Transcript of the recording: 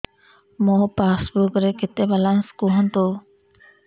ମୋ ପାସବୁକ୍ ରେ କେତେ ବାଲାନ୍ସ କୁହନ୍ତୁ